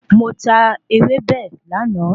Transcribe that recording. Mo tà ewébẹ̀ láàná